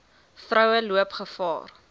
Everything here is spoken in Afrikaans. vroue loop gevaar